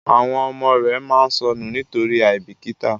àwọn ọmọ rẹ má sọnù nitori aibikita,